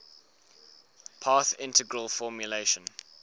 path integral formulation